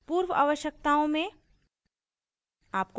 पूर्व आवश्यकताओं में